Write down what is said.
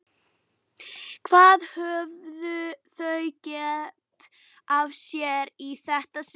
Hvað höfðu þau gert af sér í þetta sinn?